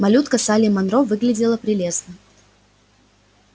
малютка салли манро выглядела прелестно